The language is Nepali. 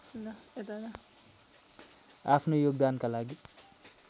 आफ्नो योगदानका लागि